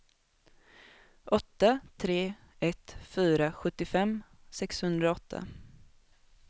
åtta tre ett fyra sjuttiofem sexhundraåtta